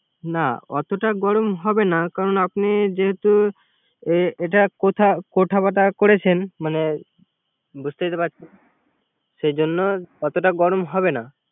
না অতটা গরম হবে না। যেহেতু এ এ কথা বার্ত করেছেন মানে বুঝতেই তো পারছেন্। সেই জন্য অতটা গরম হবে না